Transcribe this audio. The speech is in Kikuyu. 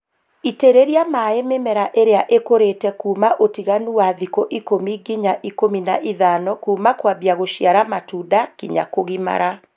Itĩrĩria maĩ mĩmera ĩria ĩkũrĩte kuuma ũtiganu wa thikũ ikũmi nginya ikũmi na ithano kuuma kwambia gũciara matunda nginya kũgimara